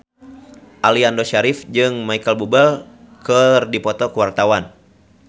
Aliando Syarif jeung Micheal Bubble keur dipoto ku wartawan